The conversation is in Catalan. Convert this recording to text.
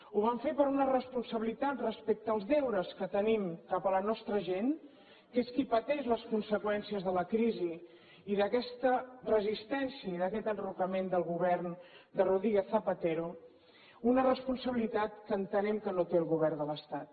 ho vam fer per una responsabilitat respecte als deures que tenim cap a la nostra gent que és qui pateix les conseqüències de la crisi i d’aquesta resistència i d’aquest enrocament del govern de rodríguez zapatero una responsabilitat que entenem que no té el govern de l’estat